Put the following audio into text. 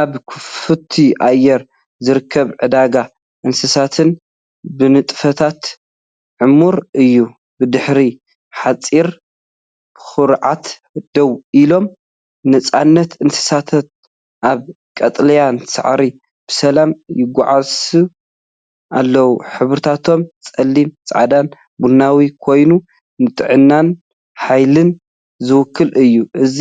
ኣብ ክፉት ኣየር ዝርከብ ዕዳጋ እንስሳታት ብንጥፈታት ዕሙር እዩ። ብድሕሪ ሓጹር ብኹርዓት ደው ኢሎም፡ጽኑዓት እንስሳታት ኣብ ቀጠልያ ሳዕሪ ብሰላም ይጓስዩ ኣለዉ። ሕብርታቶም ጸሊም፡ ጻዕዳን ቡናዊን ኮይኑ፡ንጥዕናን ሓይልን ዝውክል እዩ። እዚ